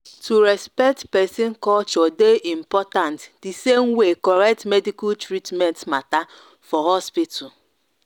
to respect person culture dey important the same way correct medical treatment matter for hospital.